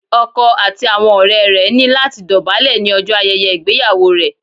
Ọkọ àti àwọn ọ̀rẹ́ rẹ̀ ní láti dọ̀bálẹ̀ ní ọjọ́ ayẹyẹ ìgbéyàwó rẹ̀